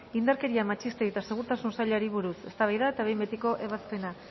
indarkeria matxistei eta segurtasun sailari buruz eztabaida eta behin betiko ebazpena